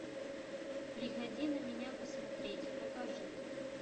приходи на меня посмотреть покажи